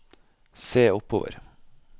se oppover